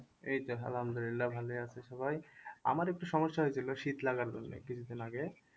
এই যে আলহামদুলিল্লাহ ভালোই আছে সবাই আমার একটু সমস্যা হয়েছিল শীত লাগার জন্যে কিছুদিন আগে